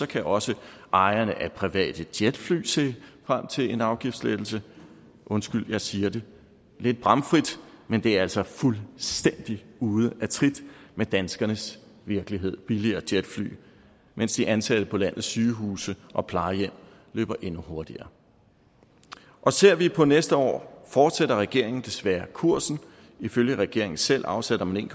kan også ejerne af private jetfly se frem til en afgiftslettelse undskyld jeg siger det lidt bramfrit men det er altså fuldstændig ude af trit med danskernes virkelighed billigere jetfly mens de ansatte på landets sygehuse og plejehjem løber endnu hurtigere ser vi på næste år fortsætter regeringen desværre kursen ifølge regeringen selv afsætter man